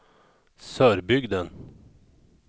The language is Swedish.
Sörbygden